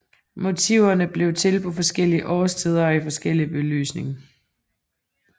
Motiverne blev til på forskellige årstider og i forskellig belysning